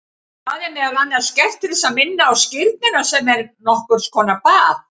Það er meðal annars gert til að minna á skírnina sem er nokkur konar bað.